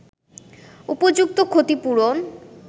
উপযুক্ত ক্ষতিপূরণ